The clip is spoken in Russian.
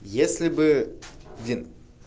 если бы блин